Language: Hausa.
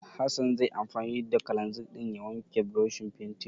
Hassan zai yi anfani da kalanzir ɗin ya wanke burushin fentin.